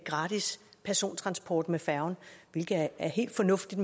gratis persontransport med færgen hvilket er helt fornuftigt